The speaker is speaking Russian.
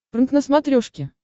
прнк на смотрешке